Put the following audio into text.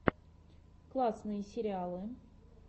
классные сериалы